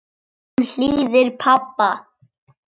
Hún hlýðir pabba.